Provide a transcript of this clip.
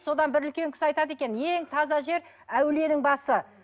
содан бір үлкен кісі айтады екен ең таза жер әулиенің басы